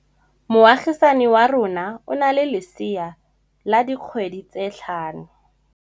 Moagisane wa rona o na le lesea la dikgwedi tse tlhano.